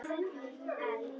Stefán gapti af undrun.